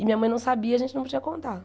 E minha mãe não sabia, a gente não podia contar.